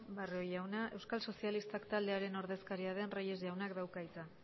barrio jauna euskal sozialistak taldearen ordezkaria den reyes jaunak dauka hitza